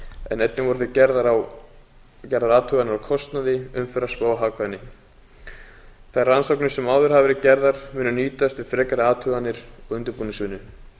en einnig voru gerðar athuganir á kostnaði umferðarspá og hagkvæmni þær rannsóknir sem áður hafa verið gerðar munu nýtast við frekari athuganir og undirbúningsvinnu